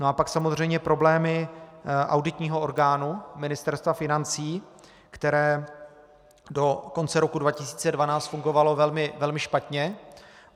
No a pak samozřejmě problémy auditního orgánu, Ministerstva financí, které do konce roku 2012 fungovalo velmi špatně.